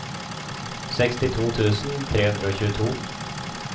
sekstito tusen tre hundre og tjueto